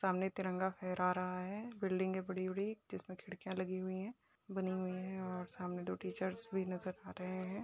सामने तिरंगा फहरा रहा है। बिल्डिंग हैं बड़ी-बड़ी जिसमें खिड़कियाँ लगी हुई हैं बनी हुई हैं और सामने दो टीचर्स भी नजर आ रहे हैं।